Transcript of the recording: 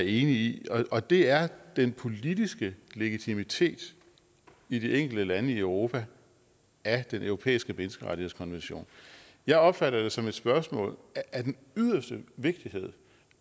i og det er den politiske legitimitet i de enkelte lande i europa af den europæiske menneskerettighedskonvention jeg opfatter det som et spørgsmål af den yderste vigtighed